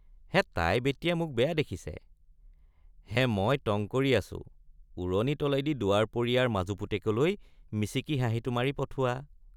হে তাই বেটিয়ে মোক বেয়া দেখিছে—হে মই টঙ্‌ কৰি আছো ওৰণি তলেদি দুৱাৰপৰীয়াৰ মাজু পুতেকলৈ মিচিকি হাঁহিটো মাৰি পঠোৱা।